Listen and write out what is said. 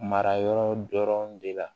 Mara yɔrɔ dɔrɔn de la